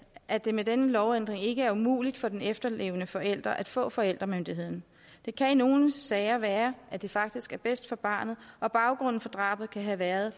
at det med denne lovændring ikke er umuligt for den efterlevende forælder at få forældremyndigheden det kan i nogle sager være at det faktisk er bedst for barnet og baggrunden for drabet kan have været